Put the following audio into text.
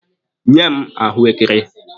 Nye m ahụekere!